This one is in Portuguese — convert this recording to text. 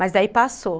Mas daí passou.